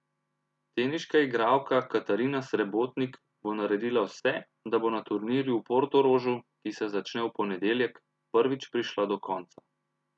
Teniška igralka Katarina Srebotnik bo naredila vse, da bo na turnirju v Portorožu, ki se začne v ponedeljek, prvič prišla do konca.